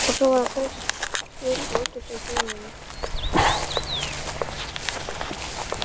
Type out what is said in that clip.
Og svo var að geispa út úr sér gremjunni.